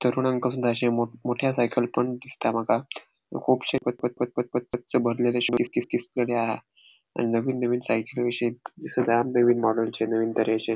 तरुण मोठ्या सायकल पण दिसता मका कूबशी पक पक पक पक पक गच भरलेकशे किस किस किस किस लेले आहा आणि नवीन नवीन सायकली दिसत अहा. नविन मोडेलची नविन तरेचे.